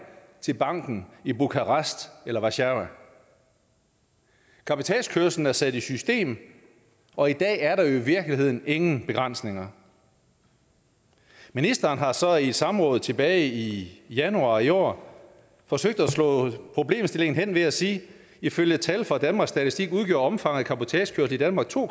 til banken i bukarest eller warszawa cabotagekørslen er sat i system og i dag er der jo i virkeligheden ingen begrænsninger ministeren har så i et samråd tilbage i januar i år forsøgt at slå problemstillingen hen ved at sige at ifølge tal fra danmarks statistik udgjorde omfanget af cabotagekørsel i danmark to